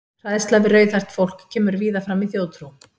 Hræðsla við rauðhært fólk kemur víða fram í þjóðtrú.